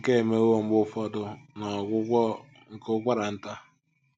Nke a emewo mgbe ụfọdụ n’ọgwụgwọ nke ụkwara nta.